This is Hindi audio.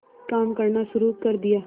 काम करना शुरू कर दिया